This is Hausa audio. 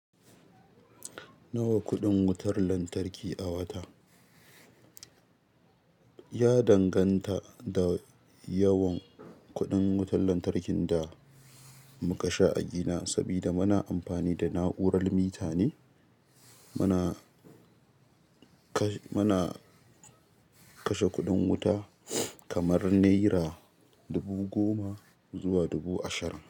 Nawa kuɗin wutar lantarki a wata? Ya danganta da yawan kuɗin wutar lantarkin da muka sha a gina. Sabida muna amfani da na'urar mita ne, muna, kash muna kashe kuɗin wuta kamar naira dubu goma zuwa dubu ashirin.